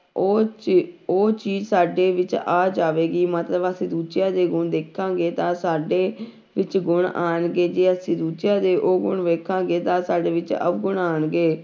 ਉਹ ਚੀ ਉਹ ਚੀਜ਼ ਸਾਡੇ ਵਿੱਚ ਆ ਜਾਵੇਗਾ ਮਤਲਬ ਅਸੀਂ ਦੂਜਿਆਂ ਦੇ ਗੁਣ ਦੇਖਾਂਗੇ ਤਾਂ ਸਾਡੇ ਵਿੱਚ ਗੁਣ ਆਉਣਗੇ, ਜੇ ਅਸੀਂ ਦੂਜਿਆਂ ਦੇ ਔਗੁਣ ਦੇਖਾਂਗੇ ਤਾਂ ਸਾਡੇ ਵਿੱਚ ਔਗੁਣ ਆਉਣਗੇ।